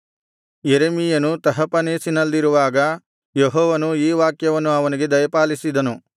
ಯೆರೆಮೀಯನು ತಹಪನೇಸಿನಲ್ಲಿರುವಾಗ ಯೆಹೋವನು ಈ ವಾಕ್ಯವನ್ನು ಅವನಿಗೆ ದಯಪಾಲಿಸಿದನು